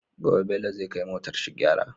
Gobe bello zai kai motar shi gyara